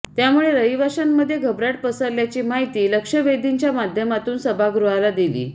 त्यामुळे रहिवाशांमध्ये घबराट पसरल्याची माहिती लक्षवेधीच्या माध्यमातून सभागृहाला दिली